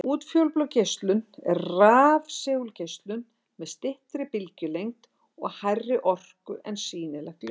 Útfjólublá geislun er rafsegulgeislun með styttri bylgjulengd og hærri orku en sýnilegt ljós.